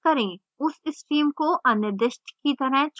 उस stream को अनिर्दिष्ट की तरह छोड़ दें